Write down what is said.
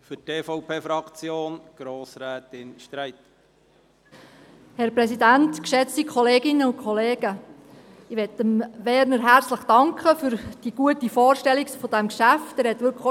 Ich möchte Werner Moser herzlich für die gute Vorstellung dieses Geschäfts danken.